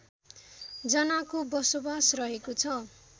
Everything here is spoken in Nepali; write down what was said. जनाको बसोबास रहेको छ